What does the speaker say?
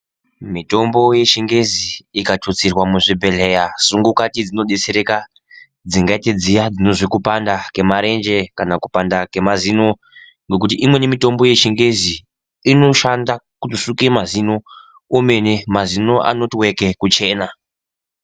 Mitombo yechingezi ikatutsirwa muzvibhedhleya sungukati dzinodetsereka dzingaite dziya dzinozwe kupanda kwemarenje kana kupanda kwemazino ngokuti imweni mitombo yechingezi inoshanda kusuka mazino kwemene mazino anoti weke kuchena.